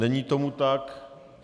Není tomu tak.